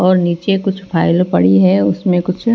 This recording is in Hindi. और नीचे कुछ फाइल पड़ी है उसमें कुछ--